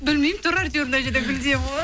білмеймін тұр әйтеуір мына жерде гүл деймін ғой